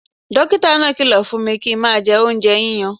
Dókítà náà kìlọ̀ fún mi kí n má jẹ oúnjẹ yíyan